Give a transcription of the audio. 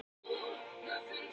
Gissur